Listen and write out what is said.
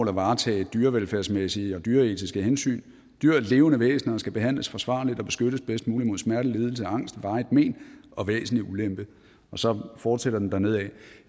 at varetage dyrevelfærdsmæssige og dyreetiske hensyn dyr er levende væsener og skal behandles forsvarligt og beskyttes bedst muligt mod smerte lidelse og angst varigt men og væsentlig ulempe og så fortsætter den dernedad